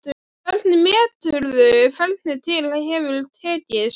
Hvernig meturðu hvernig til hefur tekist?